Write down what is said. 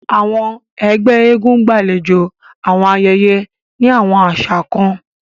Awọn ẹgbẹ èègún gbalejo awọn ayẹyẹ ni awọn aṣa kan.